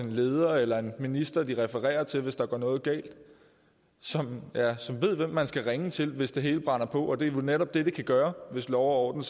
en leder eller en minister de refererer til hvis der går noget galt som som ved hvem man skal ringe til hvis det hele brænder på og det er netop det det kan gøre hvis lov og